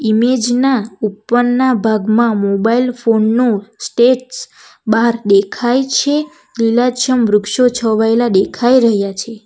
Image ના ઉપરના ભાગમાં મોબાઈલ ફોન નુ બાર દેખાય છે લીલાછમ વૃક્ષો છવાયેલા દેખાય રહયા છે.